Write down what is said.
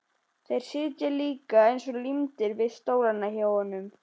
Þeir sitja líka eins og límdir við stólana hjá honum!